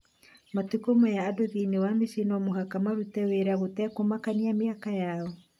Matukũ maya andũ thĩinĩ wa mĩciĩ no mũhaka marute wĩra gũtekũmakania mĩaka yao